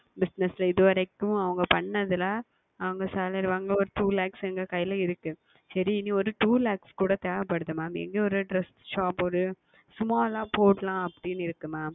Business ல இது வரைக்கும் அவங்கள் செய்ததில் அவங்கள் Salary வாங்கியதில் ஓர் Two Lakhs எங்கள் கையில் இருக்கிறது சரி இனி ஓர் Two Lakhs கூட தேவைப்படுகிறது Mam இங்கே ஓர் Dress Shop ஓர் சுமாராக போடலாம் அப்படி என்று இருக்கிறது Mam